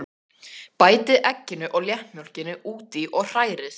Bætið egginu og léttmjólkinni út í og hrærið.